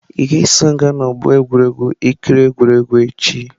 Ị ga-eso m gaa n'ọgbọ egwuregwu ị kiri egwuregwu echi?